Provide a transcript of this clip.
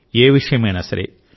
ఏ విషయమైనా సరే